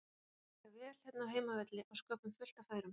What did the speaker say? Okkur líkar vel hérna á heimavelli og sköpum fullt af færum.